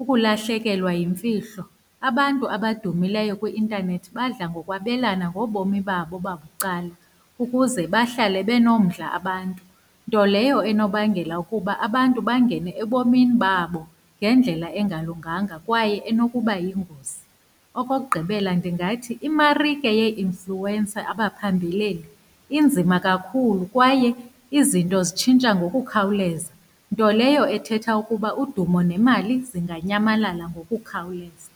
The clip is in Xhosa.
ukulahlekelwa yemfihlo. Abantu abadumileyo kwi-intanethi badla ngokwabelana ngobomi babo babucala, ukuze bahlale benomdla abantu, nto leyo enobangela ukuba abantu bangene ebomini babo ngendlela engalunganga kwaye enokuba yingozi. Okokugqibela, ndingathi imarike yee-influencer apha phambeleni, inzima kakhulu kwaye izinto zitshintsha ngokukhawuleza, nto leyo ethetha ukuba udumo nemali zinganyamalala ngokukhawuleza.